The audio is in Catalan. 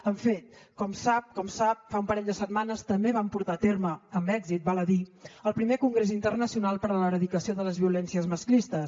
en fi com sap fa un parell de setmanes també vam portar a terme amb èxit val a dir el primer congrés internacional per a l’erradicació de les violències masclistes